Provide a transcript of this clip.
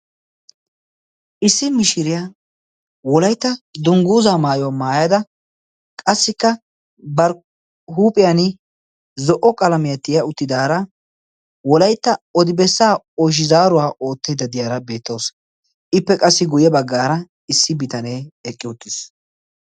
issi mishiriyaa wolaitta dungguuza maayuwaa maayada qassikka barhuuphiyan zo77o qalamehatiya uttidaara wolaitta odibessa oshizaaruwaa oottedda diyaara beettoos ippe qassi guyye baggaara issi bitanee eqqi uttiis